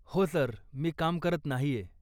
हो सर, मी काम करत नाहीय.